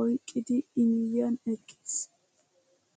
oyqqidi i miyiyaan eqqis!